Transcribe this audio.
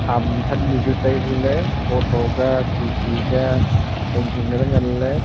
hamthannu chu tai huley thotho ka khikhi ka hinghing kaley nganley.